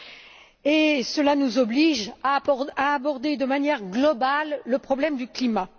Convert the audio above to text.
2 Cela nous oblige à aborder de manière globale le problème du climat.